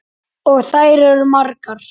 Og þær eru margar.